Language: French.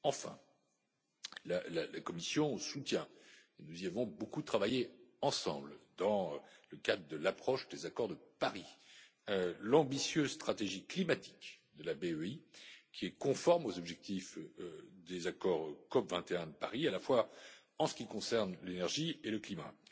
Enfin, la Commission soutient et nous y avons beaucoup travaillé ensemble dans le cadre de l'approche des accords de Paris l'ambitieuse stratégie climatique de la BEI, qui est conforme aux objectifs des accords COP21 de Paris, à la fois en ce qui concerne l'énergie et le climat.